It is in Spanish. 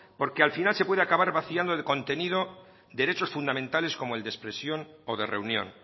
porque al final se puede acabar vaciando de contenido derechos fundamentales como el de expresión o de reunión